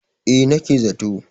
eh nake za to